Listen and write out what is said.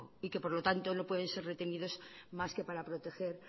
y por lo tanto no pueden ser retenidos más que para proteger